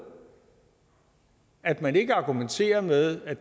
at man ikke argumenterer med at